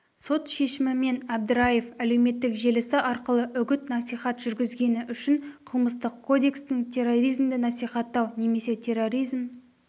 сот шешімімен әбдіраев әлеуметтік желісі арқылы үгіт-насихат жүргізгені үшін қылмыстық кодекстің терроризмді насихаттау немесе терроризм